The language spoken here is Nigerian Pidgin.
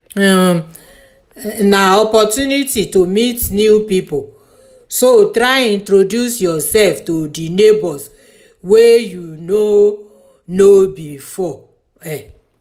um na opportunity to meet new pipo so try introduce yourself to di neighbors wey you no um know before um